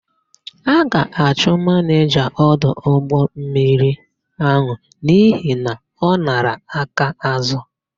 A ga-achụ manịja ọdụ ụgbọmmiri áhụ̀ n'ihi na ọ nara akaázụ̀.